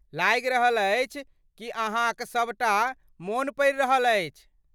लागि रहल अछि कि अहाँक सबटा मोन पड़ि रहल अछि।